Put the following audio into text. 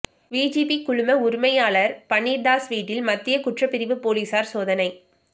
VGP குழும உரிமையாளர் பன்னீர்தாஸ் வீட்டில் மத்திய குற்ற பிரிவு போலீசார் சோதனை